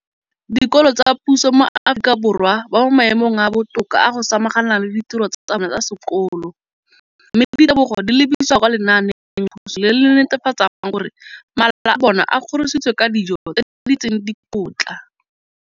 Dikolo tsa puso mo Aforika Borwa ba mo maemong a a botoka a go ka samagana le ditiro tsa bona tsa sekolo, mme ditebogo di lebisiwa kwa lenaaneng la puso le le netefatsang gore mala a bona a kgorisitswe ka dijo tse di tletseng dikotla.